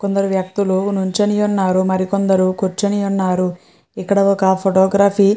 కొందరు వ్యక్తులు నుంచుని యున్నారు మరి కొందరు కూర్చుని యున్నారు ఇక్కడ ఒక ఫోటోగ్రఫి --